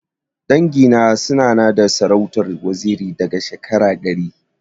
Dangi na suna na da sarautar waziri sama da shekara ɗari.